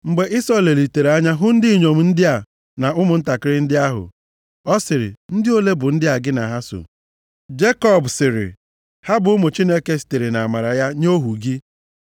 Mgbe Ịsọ lelitere anya hụ ndị inyom ndị a na ụmụntakịrị ndị ahụ. Ọ sịrị, “Ndị ole bụ ndị a gị na ha so?” Jekọb sịrị, “Ha bụ ụmụ Chineke sitere nʼamara ya nye ohu gị.”